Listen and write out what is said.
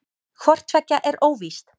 Hvort tveggja er óvíst.